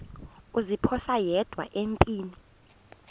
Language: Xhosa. kuziphosa yedwa empini